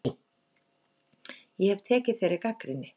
Ég hef tekið þeirri gagnrýni.